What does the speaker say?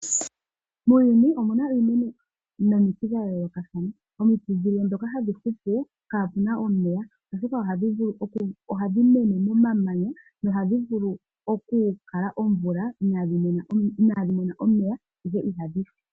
Muuyuni omuna iimeno nomiti dha yoolokathana, omiti dhilwe ndhoka hadhi hupu kaapuna omeya, oshoka ohadhi mene momamanya nohadhi vulu oku kala oomvula inaadhi mona omeya ashike ihadhi si.